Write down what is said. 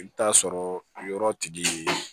I bɛ t'a sɔrɔ yɔrɔ tigi